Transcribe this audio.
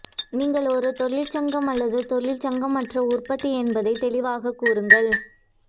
நீங்கள் ஒரு தொழிற்சங்கம் அல்லது தொழிற்சங்கமற்ற உற்பத்தி என்பதை தெளிவாகக் கூறுங்கள்